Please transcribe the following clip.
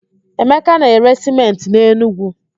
Emeka na-ere sịmentị n'Enugwu.